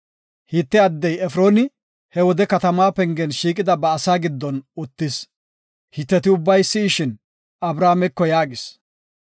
Hite addiya Efrooni he wode katama pengen shiiqida ba asa giddon uttis. Hiteti ubbay si7ishin, Abrahaameko yaagis;